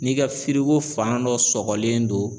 N'i ka firiko fan dɔ sɔgɔlen don